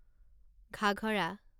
Ghaghara